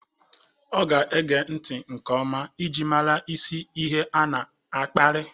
Ọ ga-ege nti nke ọma iji mara isi ihe a na-akparị.